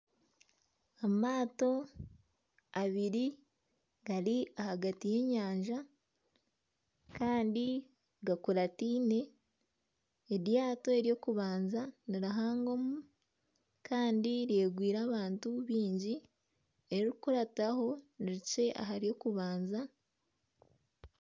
Amaato abiri gari ahagati y'enyanja kandi gakuratiine eryato ery'okubanza nirihangomu kandi ryegwire abantu baingi eririkukurataho nirikye aha ry'okubanza .